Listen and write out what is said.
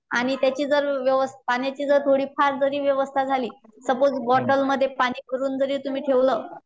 आणि त्याची जर जरी व्यवस्थ आणि पाण्याची जर थोडीफार जरी व्यवस्था झाली, सपोझ बॉटलमध्ये पाणी भरून जरी तुम्ही ठेवलं